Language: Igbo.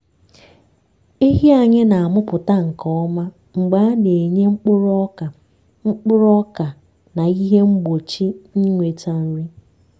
ehi anyị na-amụpụta nke ọma mgbe a na-enye mkpuru ọka mkpuru ọka na ihe mgbochi ịnweta nri.